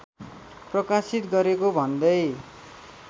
प्रकाशित गरेको भन्दै